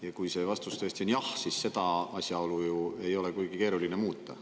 Ja kui see vastus tõesti on jah, siis seda asjaolu ju ei ole kuigi keeruline muuta.